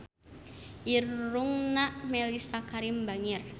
Irungna Mellisa Karim bangir